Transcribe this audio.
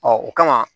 o kama